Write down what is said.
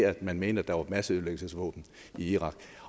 at man mente at der var masseødelæggelsesvåben i irak